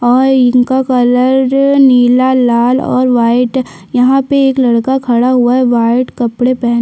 अ इनका कलर नीला लाल और वाइट यहाँ पर एक लड़का खड़ा हुआ है वाइट कपड़े पहन--